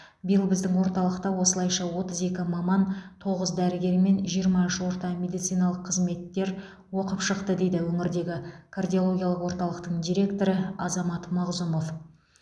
биыл біздің орталықта осылайша отыз екі маман тоғыз дәрігер мен жиырма үш орта медициналық қызметкер оқып шықты дейді өңірдегі кардиологиялық орталықтың директоры азамат мағзұмов